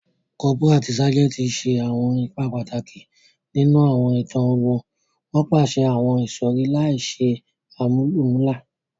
Cọ́póra ati ságẹntì ṣe awọn ipa pataki ninu awọn itan ogun, won paṣẹ àwon ìsọ̀rí láìse àmúlùmálà